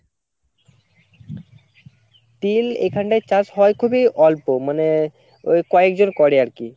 তিল এখানটায় চাষ হয় খুবি অল্প মানে ওই কয়েকজন করে আরকি